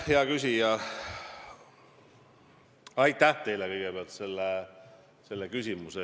Hea küsija, aitäh teile kõigepealt selle küsimuse eest!